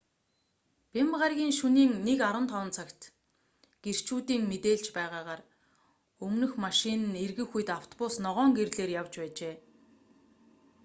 бямба гарагийн шөнийн 1:15 цагт гэрчүүдийн мэдээлж байгаагаар өмнөх машин нь эргэх үед автобус ногоон гэрлээр явж байжээ